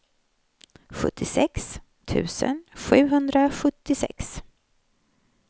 sjuttiosex tusen sjuhundrasjuttiosex